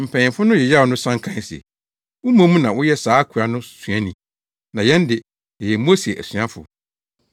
Mpanyimfo no yeyaw no san kae se, “Wo mmom na woyɛ saa akoa no suani; na yɛn de, yɛyɛ Mose asuafo.